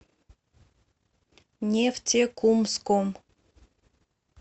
нефтекумском